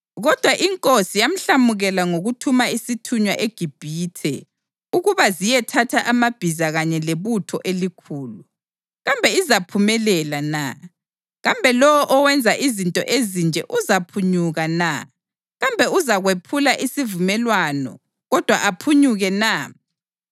Kodwa inkosi yamhlamukela ngokuthuma isithunywa eGibhithe ukuba ziyethatha amabhiza kanye lebutho elikhulu. Kambe izaphumelela na? Kambe lowo owenza izinto ezinje uzaphunyuka na? Kambe uzakwephula isivumelwano kodwa aphunyuke na?